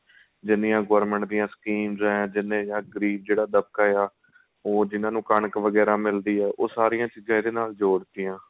ਜਿੰਨੀਆਂ government ਦੀਆਂ schemes ਏ ਜਿੰਨੇ ਜਾਂ ਗਰੀਬ ਜਿਹੜਾ ਦਭਗਾ ਉਹ ਜਿਨਾਂ ਨੂੰ ਕਣਕ ਵਗੇਰਾ ਮਿਲਦੀ ਏ ਉਹ ਸਾਰੀਆਂ ਚੀਜ਼ਾਂ ਇਹਦੇ ਨਾਲ ਜੋੜ ਤੀਆਂ